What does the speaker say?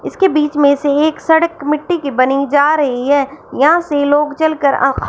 इसके बीच में से एक सड़क मिट्टी की बनी जा रही है यहां से लोग चल कर आ--